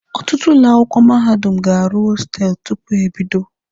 Ọtụtụ ụlọ akwụkwọ mahadum ga-arụ hostelụ tupu ha ebido.